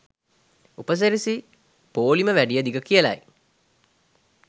උපසිරැසි පෝලිම වැඩිය දිග කියලයි.